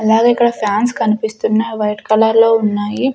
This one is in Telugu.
అలాగే ఇక్కడ ఫ్యాన్స్ కనిపిస్తున్నయి అవి వైట్ కలర్ లో ఉన్నాయి.